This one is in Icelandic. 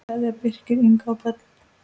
Kveðja, Birkir, Inga og börn.